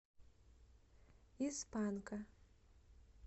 из панка